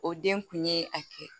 O den kun ye a kɛ